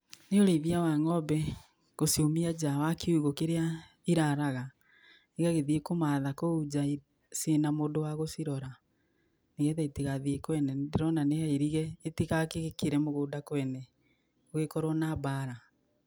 Nĩ ũrĩithia wa ng'ombe, gũciumia nja wakiũgo kĩrĩa iraraga, igagĩthiĩ kũmatha kũu nja ciĩna mũndũ wa gũciĩrora nĩgetha itigathiĩ kwene, nĩndĩrona nĩhairige itigagĩkĩre mũgũnda kwene gũgĩkorwo na mbara.